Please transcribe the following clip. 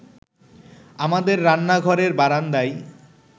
আমাদের রান্নাঘরের বারান্দায়